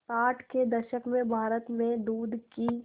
साठ के दशक में भारत में दूध की